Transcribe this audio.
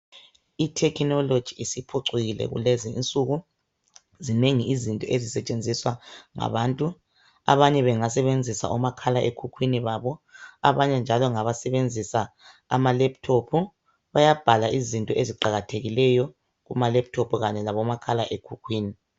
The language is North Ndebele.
I"technology" isiphucukile kulezi insuku. Zinengi izinto ezisetshenziswa ngabantu abanye bengasebenzisa omakhalekhukhwini babo, abanye njalo ngabasebenzisa ama laptop. Bayabhala izinto eziqakathekileyo kuma laptop kanye labo makhalekhukhwini.